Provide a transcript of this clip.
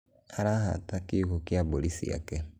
araahata kiugũ kia mbũri ciake